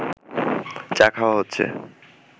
চা খাওয়া হচ্ছে